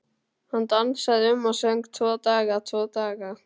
Hann dansaði um og söng: Tvo daga, tvo daga